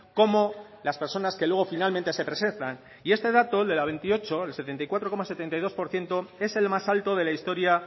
como las personas que luego finalmente se presentan y este dato el de la veintiocho el setenta y cuatro coma setenta y dos por ciento es el más alto de la historia